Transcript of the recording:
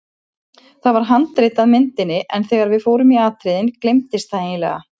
Það var handrit að myndinni en þegar við fórum í atriðin gleymdist það eiginlega.